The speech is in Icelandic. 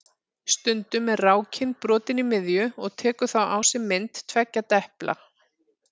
Stundum er rákin brotin í miðju og tekur þá á sig mynd tveggja depla.